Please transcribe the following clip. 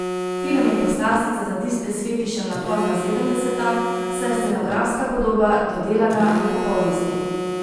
Film je poslastica za tiste s fetišem na pozna sedemdeseta, saj je scenografska podoba dodelana do popolnosti.